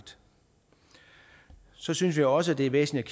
så synes vi også det er væsentligt